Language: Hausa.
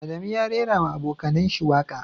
Adamu ya raira ma abokanayen shi waka.